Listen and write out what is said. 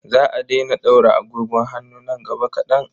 Za a daina ɗaura agogon hannu nan gaba kaɗan.